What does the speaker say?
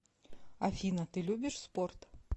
афина ты любишь спорт